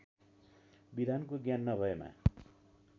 विधानको ज्ञान नभएमा